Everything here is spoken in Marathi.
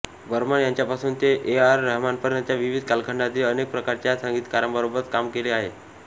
बर्मन यांच्यापासून ते ए आर रहमानपर्यंतच्या विविध कालखंडांतील अनेक प्रकारच्या संगीतकारांबरोबर काम केले आहे